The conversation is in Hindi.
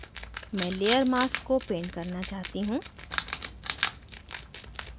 मैं layer mask को paint करना चाहती हूँ